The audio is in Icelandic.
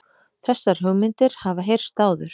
Þessar hugmyndir hafa heyrst áður